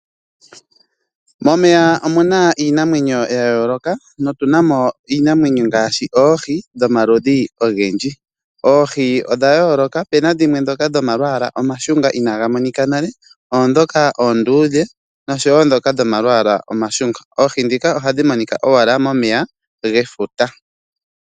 Momeya omuna iinamwenyo ya yooloka notunamo iinamwenyo ngaashi oohi dhomaludhi ogendji. Oohi odha yooloka opuna dhimwe ndhoka dhoma lwala inagamonika nale ondhoka oondudhe naandhoka dhoma lwala omashunga. Oohi ndhika ohadhi monika owala momeya gefuta.